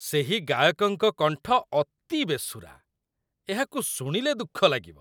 ସେହି ଗାୟକଙ୍କ କଣ୍ଠ ଅତି ବେସୁରା। ଏହାକୁ ଶୁଣିଲେ ଦୁଃଖଲାଗିବ।